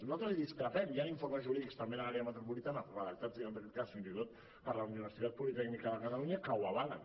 nosaltres en discrepem hi han informes jurídics també de l’àrea metropolitana redactats en aquest cas fins i tot per la universitat politècnica de catalunya que ho avalen